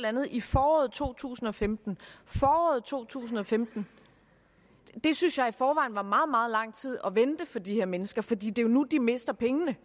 andet i foråret to tusind og femten foråret 2015 det synes jeg i forvejen er meget meget lang tid at vente for de her mennesker fordi det jo er nu at de mister pengene